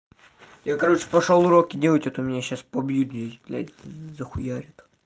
я короче пошёл уроки делать а то меня сейчас побьют здесь блядь захуярят